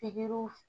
Pikiriw